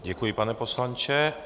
Děkuji, pane poslanče.